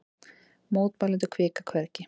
Mótmælendur hvika hvergi